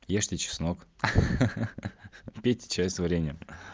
ешьте чеснок ха-ха пейте чай с вареньем